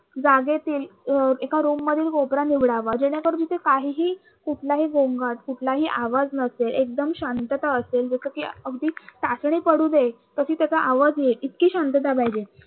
जागेतील अं एका room मधील कोपरा निवडावा जेणेकरून ते काहीही कुठलाही गोंगाट कुठलाही आवाज नसेल एकदम शांतता असेल जस कि, अगदी टाचणी पडून दे तरी त्याच्या आवाज येईल इतकी शांतता द्यावी.